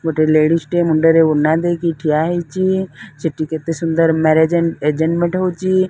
ଗୋଟେ ଲେଡ଼ିଜ୍ ଟେ ମୁଣ୍ଡରେ ଓଢ଼ଣା ଦେଇକି ଠିଆ ହେଇଚି ସେଠି କେତେ ସୁନ୍ଦର ମ୍ୟାରେଜେ ମଧ୍ୟ ହୋଉଚି ।